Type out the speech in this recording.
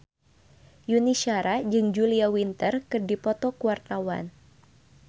Yuni Shara jeung Julia Winter keur dipoto ku wartawan